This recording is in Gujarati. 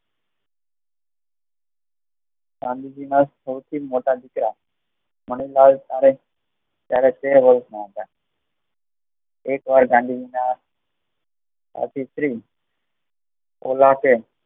ગાંધીજી ના સૌથી મોટા દીકરા મનુભાઈ ત્યારે તેર વર્ષ ના હતા એકવાર ગાંધીજી ના અતિશ્રીઓ આવશે